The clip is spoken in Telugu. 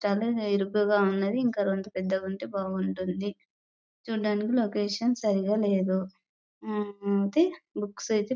చాలా ఇరుకుగా ఉంది ఇంకా రెండు పెద్దగా ఉంటే బాగుంటుంది చూడడానికి లోకేషన్ సరిగా లేదు అయితే లవోక్స్